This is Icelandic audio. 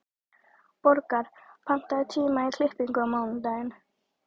Borgar, pantaðu tíma í klippingu á mánudaginn.